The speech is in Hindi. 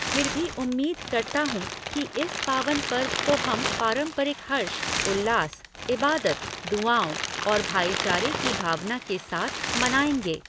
फिर भी उम्मीद करता हूँ कि इस पावन पर्व को हम पारंपरिक हर्ष, उल्लास, इबादत, दुआओ और भाईचारे की भावना के साथ मनाएँगे।